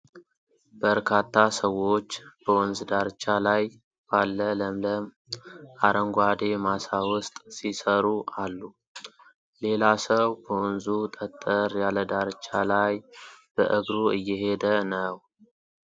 በርካታ ሰዎች በወንዝ ዳርቻ ላይ ባለ ለምለም አረንጓዴ ማሳ ውስጥ ሲሰሩ አሉ። ሌላ ሰው በወንዙ ጠጠር ያለ ዳርቻ ላይ በእግሩ እየሄደ ነው።